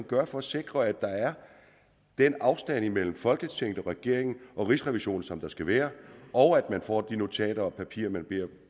gøre for at sikre at der er den afstand imellem folketinget og regeringen og rigsrevisionen som der skal være og at man får de notater og papirer man beder